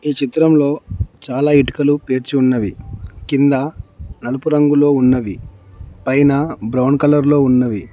ఈ చిత్రంలో చాలా ఇటుకలు పేర్చి ఉన్నవి కింద నలుపు రంగులో ఉన్నవి పైన బ్రౌన్ కలర్ లో ఉన్నవి.